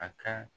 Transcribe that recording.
A ka